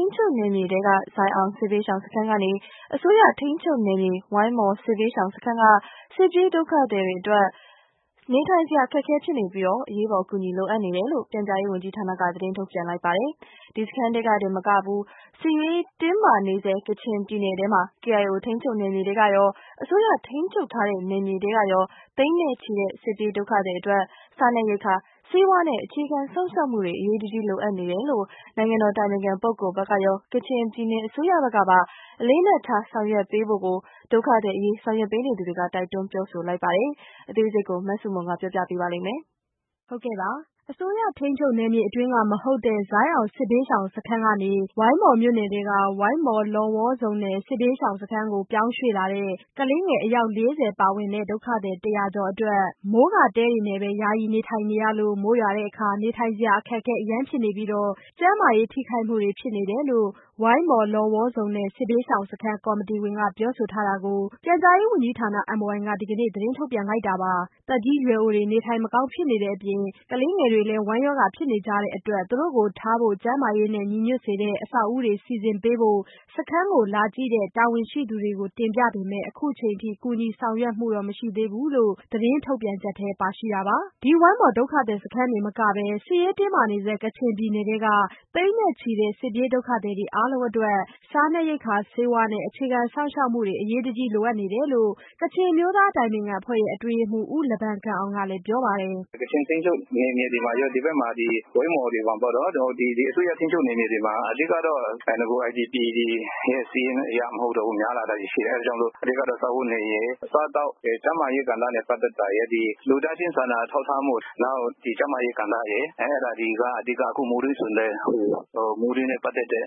ိန်းချုပ်နယ်မြေထဲက ဇိုင်းအောင်စစ်ဘေးရှောင်စခန်းကနေ အစိုးရထိန်းချုပ်နယ်မြေ ဝိုင်းမော်စစ်ဘေးရှောင်စခန်းက စစ်ပြေးဒုက္ခသည်တွေအတွက် နေထိုင်စရာအခက်အခဲဖြစ်နေပြီး အရေးပေါ်အကူအညီလိုအပ်နေတယ်လို့ ပြန်ကြားရေးဝန်ကြီးဌာနက သတင်းထုတ်ပြန်လိုက်ပါတယ်။ ဒီစခန်းထဲတင်မက စစ်ရေးတင်းမာနေဆဲ ကချင်ပြည်နယ်ထဲမှာ KIO ထိန်းချုပ်နယ်မြေထဲက ရော အစိုးရထိန်းချုပ်ထားတဲ့ နယ်မြေထဲကရော သိန်းချီတဲ့ စစ်ပြေးဒုက္ခသည် အတွက် စားနပ်ရိက္ခာ၊ ဆေးဝါးနဲ့ အခြေခံစောင့်ရှောက်မှုတွေ အရေးတကြီးလိုအပ်နေလို့ နိုင်ငံတော်အတိုင်ပင်ခံပုဂ္ဂိုလ်ဘက်ကရော ကချင်ပြည်နယ်အစိုးရကပါ အလေးအနက်ထား ဆောင်ရွက်ပေးဖို့ဒုက္ခသည်အရေး ဆောင်ရွက်ပေးနေသူတွေကတိုက်တွန်းပြောဆိုလိုက်ပါတယ်။ အသေးစိတ် မဆုမွန် တင်ပြထားပါတယ်။ အစိုးရထိန်းချုပ်နယ်မြေအတွင်းက မဟုတ်တဲ့ ဇိုင်အောင်စစ်ဘေးရှောင်စခန်းကနေ ဝိုင်းမော်မြို့နယ်ထဲက ဝိုင်းမော် လော်ဝေါ်ဇုန်နယ် စစ်ဘေးရှောင်စခန်းကို ပြောင်းရွှေ့လာတဲ့ ကလေးငယ် အယောက်၄၀ ပါဝင်တဲ့ ဒုက္ခသည် ၁၀၀ကျော်အတွက် မိုးကာတဲတွေနဲ့ပဲ ယာယီနေထိုင်နေရလို့ မိုးရွာတဲ့အခါ နေထိုင်စရာ အခက်အခဲအရမ်းဖြစ်နေပြီး ကျန်းမာရေးထိခိုက်မှုတွေဖြစ်လာနေတယ် ဝိုင်းမော်လော်ဝေါ်ဇုန်နယ် စစ်ဘေးရှောင်စခန်းကော်မတီဝင်က ပြောဆိုထားတာကို ပြန်ကြားရေးဝန်ကြီးဌာန MOI က ဒီကနေ့ သတင်းထုတ်ပြန်လိုက်တာပါ။ သက်ကြီးရွယ်အိုတွေ နေထိုင်မကောင်းဖြစ်နေကြတဲ့အပြင် ကလေးငယ်တွေလည်း ဝမ်းရောဂါဖြစ်နေကြတဲ့ အတွက် သူတို့ကိုထားဖို့ ကျန်းမာရေးညီညွတ်စေတဲ့ အဆောက်အဦးတွေစီစဉ်ပေးဖို့ စခန်းကို လာကြည့်တဲ့ တာဝန်ရှိသူတွေကို တင်ပြပေမယ့် ယနေ့အချိန်အထိ ကူညီဆောင်ရွက်မှုတော့မရှိဘူးလို့ သတင်းထုတ်ပြန်ချက်ထဲပါရှိတာပါ။ ဒီဝိုင်းမော်စခန်းတင်မကပဲ စစ်ရေးတင်းမာနေဆဲ ကချင်ပြည်နယ်ထဲက သိန်းနဲ့ချီတဲ့ စစ်ပြေးဒုက္ခသည်တွေအားလုံးအတွက်စားနပ်ရိက္ခာ၊ ဆေးဝါးနဲ့ အခြေခံစောင့်ရှောက်မှုတွေ အရေးတကြီး လိုအပ်နေတယ်လို့ ကချင်အမျိုးသားများအတိုင်ပင်ခံအဖွဲ့ရဲ့အတွင်းရေးမှူး ဦးလဘမ်ဂမ်အောင်က ပြောပါတယ်။ “ကချင်ထိန်းချုပ်နယ်မြေထဲမှာရော ဒီဘက်မှာဒီ ဝိုင်းမော်တွေမှာပေါ့နော် အစိုးရ ထိန်းချုပ်နယ်မြေတွေမှာ အဓိကတော့ နဂိုက IDP တွေစာရင်းအရ မဟုတ်တော့ပဲ များလာတာတွေရှိတယ် အဓိကတော့ စားဝတ်နေရေး ၊ အစားအသောက်တွေ ကျန်းမာရေး ကဏ္ဍနဲ့ ပတ်သက်တာရယ် လူသားချင်းစာနာထောက်ထားမှု အဲဒါတွေက အဓိက အခုမိုးတွင်းဆိုရင်လည်း မိုးတွင်းနဲ့ ပတ်သက်တဲ့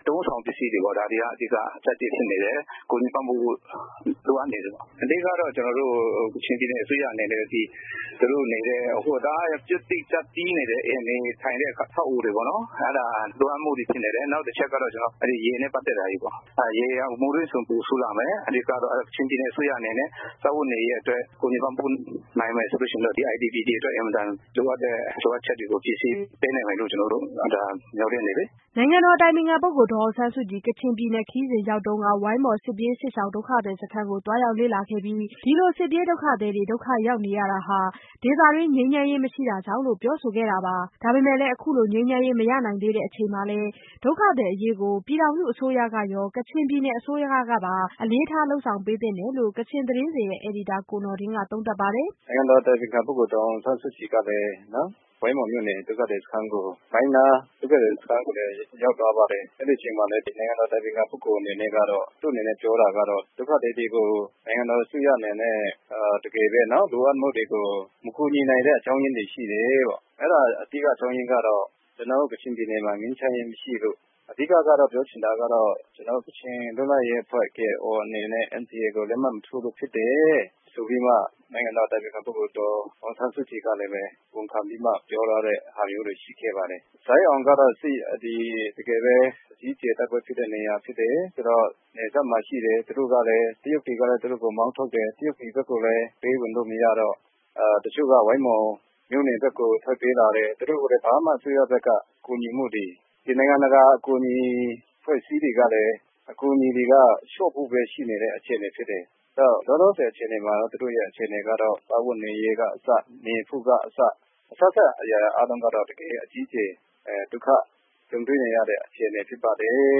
အသုံးအဆောင်ပစ္စည်းတွေပေ့ါနော် ဒါတွေက အဓိကဖြစ်နေတယ်၊ ကူညီပံ့ပိုးမှု လိုအပ်နေတယ်ပေါ့နော်။ အဓိကတော့ ကချင်ပြည်နယ်အစိုးရအနေနဲ့ သူတို့ IDP တွေနေထိုင်တဲ့ ကျပ်တည်းနေတဲ့ အဆောက်အအုံတွေပေါ့နော် အဲဒါလိုအပ်မှုတွေဖြစ်နေတယ် ။နောက်တချက်ကတော့ ရေနဲ့ ပတ်သက်တာတွေပေါ့ မိုးတွင်းဆိုရင်ပိုဆိုးလာမယ်။ အဲဒါကြောင့် ကချင်ပြည်နယ်အစိုးရအနေနဲ့ စားဝတ်နေရေးတွေ အတွက်ကူညီပံ့ပိုးနိုင်မယ်ဆိုရင်တော့ IDP တွေအတွက် အင်မတန်လိုအပ်တဲ့ လိုအပ်ချက်တွေကို ဖြည့်ဆည်းပေးနိုင်မယ်လို့ ကျနေ်ာတို့အနေနဲ့ မျှော်လင့်တယ်လေ။” နိုင်ငံတော်အတိုင်ပင်ခံပုဂ္ဂိုလ်ဒေါ်အောင်ဆန်းစုကြည် ကချင်ပြည်နယ်ခရီးစဉ်အတွင်း ဝိုင်းမော်စစ်ပြေးစစ်ရှောင်ဒုက္ခသည်စခန်းကို သွားရောက်လေ့လာခဲ့ပြီး အခုလိုစစ်ပြေးဒုက္ခသည်တွေ ဒုက္ခရောက်နေရတာဟာ ဒေသတွင်း ငြိမ်းချမ်းရေးမရှိတာကြောင့်လို့ ပြောဆိုခဲ့တာပါ။ ဒါပေမဲ့လည်း အခုလိုငြိမ်းချမ်းရေးမရနိုင်သေးတဲ့အချိန်မှာလည်း ဒုက္ခသည်အရေးကို ပြည်ထောင်စုအစိုးရကရော ကချင်ပြည်နယ် အစိုးရကရော အလေးထား လုပ်ဆောင်ပေးသင့်တယ်လို့လည်း ကချင်သတင်းစဉ် အယ်ဒီတာကိုနော်ဒင်းက သုံးသပ်ပါတယ်။ “နိုင်ငံတော်အတိုင်ပင်ခံပုဂ္ဂိုလ်ဒေါ်အောင်ဆန်းစုကြည်ကလည်း ဝိုင်းမော်မြို့နယ် ဒုက္ခသည်စခန်းကိုလည်း ရောက်သွားပါတယ်။ အဲဒီအချိန်မှာလည်း နိုင်ငံတော်အတိုင်ပင်ခံပုဂ္ဂိုလ် အနေနဲ့ကတော့ ဒုက္ခသည်တွေကို နိုင်ငံတော်အစိုးရအနေနဲ့ လိုအပ်မှုတွေကို မကူညီနိုင်တဲ့ အကြောင်းအရင်းတွေရှိတယ်၊ အဲဒါအဓိကအကြောင်းအရင်းကတော့ ကျနော်တို့ ကချင်ပြည်နယ်မှာ ငြိမ်းချမ်းရေးမရှိလို့ အဓိကတော့ ပြောချင်တာကတော့ ကချင်လွတ်လပ်ရေးအဖွဲ့ KIO အနေနဲ့ NCA ကိုလက်မှတ်မထိုးလို့ ဖြစ်တယ်ဆိုပြီးမှ နိုင်ငံတော်အတိုင်ပင်ခံပုဂ္ဂိုလ်ဒေါ်အောင်ဆန်းစုကြည် ကလည်း ဝန်ခံပြီးမှ ပြောသွားတာမျိုးတွေရှိခဲ့ပါတယ်။ ဇိုင်းအောင်ကတော့ တကယ်ပဲ အကြီးအကျယ် တိုက်ပွဲဖြစ်တဲ့နေရာဖြစ်တယ်၊ နယ်စပ်မှာရှိတဲ့ တရုတ်တွေကလည်း သူတို့ကို မောင်းထုတ်တယ်။ တရုတ်ပြည်ဘက်ကလည်း သူတို့ကို ပေးဝင်လို့မရတော့ တချို့က ဝိုင်းမော်မြို့နယ်ဘက်ကို ထွက်ပြေးလာတယ်၊ သူတို့ကိုလည်း ဘာမှ အစိုးရဘက်က ကူညီမှုတွေ နိုင်ငံတကာ ကူညီတာတွေ အဖွဲ့အစည်းတွေကလည်း အကူအညီတွေက လျှော့ဖို့ပဲဖြစ်နေတဲ့အခြေအနေတွေဖြစ်တယ်။ ဒါကြောင့်လောလောဆယ်မှာတော့ သူတို့အခြေအနေကတော့ စားဝတ်နေရေးကအစ နေဖို့ကအစ အစစအရာရာအားလုံးကတော့ တကယ့်ကို အကြီးအကျယ် ဒုက္ခကြုံတွေ့နေရတဲ့ အခြေအနေဖြစ်ပါတယ်လို့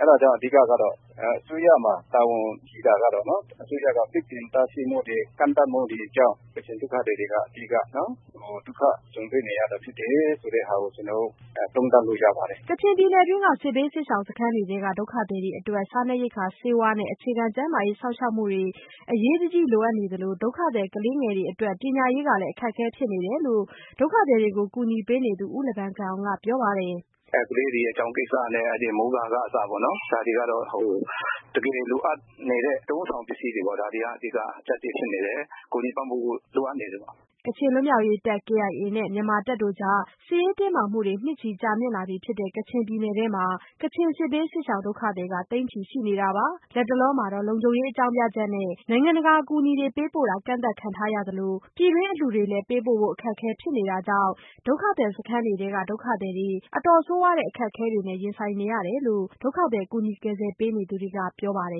အဲဒါကြောင့် အဓိကတော့ အစိုးရမှာ တာဝန်ရှိတာကတော့ အစိုးရမှာ ပိတ်ပင်တားဆီးမှု ကန့်သက်မှုတွေကြောင့် ကချင်ဒုက္ခသည်တွေက အဓိက ဒုက္ခကြုံတွေ့နေရတာဖြစ်တယ်ဆိုတာကို သုံးသပ်လို့ရပါတယ်။” ကချင်ပြည်နယ်တွင်းက စစ်ဘေးစစ်ရှောင်စခန်းတွေထဲက ဒုက္ခသည်တွေအတွက် စားနပ်ရိက္ခာ ဆေးဝါးနဲ့ အခြေခံ ကျန်းမာရေးစောင့်ရှောက်မှုတွေ အရေးတကြီးလိုအပ်နေသလို ဒုက္ခသည်ကလေးငယ်တွေအတွက် ပညာရေးလည်း အခက်အခဲဖြစ်နေတယ်လို့ ဒုက္ခသည်တွေကို ကူညီပေးနေသူ ဦးလဘမ်ဂမ်အောင်ကပြောပါတယ်။ “ကလေးတွေရဲ့ ကျောင်းကိစ္စနဲ့ မိုးကာက အစ ဒါတွေကတော့တကယ်လိုအပ်နေတဲ့ အသုံးအဆောင်ပစ္စည်းတွေပေါ့နော် ဒါတွေက အဓိက ဖြစ်နေတယ်။ ကူညီပံ့ပိုးဖို့ လိုအပ်နေတယ်ပေါ့နော်။” ကချင်လွတ်မြောက်ရေးတပ် KIA နဲ့ မြန်မာတပ်တို့ကြား စစ်ရေးတင်းမာမှုတွေ နှစ်ချီကြာမြင့်လာပြီဖြစ်တဲ့ ကချင်ပြည်နယ်တွင်းမှာ ကချင်စစ်ဘေးစစ်ရှောင်ဒုက္ခသည်က သိန်းချီရှိနေတာပါ။ လတ်တလောမှာတော့ လုံခြုံရေး အကြောင်းပြချက်နဲ့ နိုင်ငံတကာအကူညီတွေပေးပို့တာ ကန့်သတ်ခံထားရသလို ပြည်တွင်းအလှူတွေလည်း ပေးပို့ဖို့ အခက်အခဲဖြစ်နေတာကြောင့် ဒုက္ခသည်စခန်းတွေထဲကဒုက္ခသည်တွေ အတော်ဆိုးဝါးတဲ့အခက်အခဲတွေနဲ့ရင်ဆိုင်နေရတယ်လို့ ဒုက္ခသည် ကူညီကယ်ဆယ်ပေးနေသူတွေကပြောပါတယ်